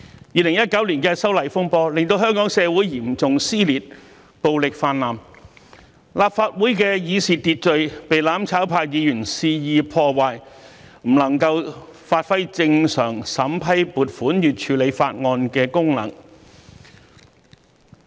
2019年的修例風波令香港社會嚴重撕裂，暴力泛濫；立法會的議事秩序被"攬炒派"議員肆意破壞，不能發揮正常審批撥款與處理法案的功能。